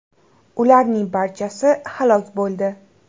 Ularning barchasi halok bo‘ldi .